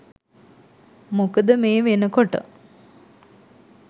මොකද මේ වෙනකොට